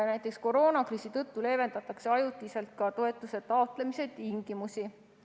Näiteks, koroonakriisi tõttu leevendatakse ajutiselt ka toetuse taotlemise tingimusi.